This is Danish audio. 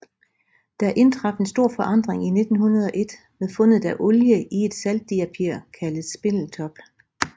Der indtraf en stor forandring i 1901 med fundet af olie i et saltdiapir kaldet Spindletop